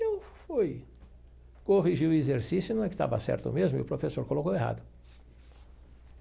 E eu fui corrigir o exercício, não é que tava certo mesmo, e o professor colocou errado.